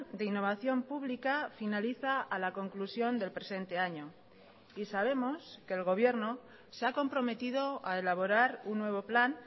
de innovación pública finaliza a la conclusión del presente año y sabemos que el gobierno se ha comprometido a elaborar un nuevo plan